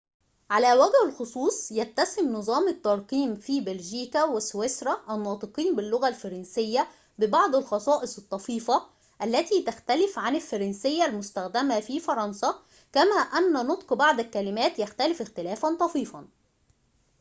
على وجه الخصوص يتسم نظام الترقيم في بلجيكا وسويسرا الناطقين باللغة الفرنسية ببعض الخصائص الطفيفة التي تختلف عن الفرنسية المستخدمة في فرنسا كما أن نطق بعض الكلمات يختلف اختلافاً طفيفاً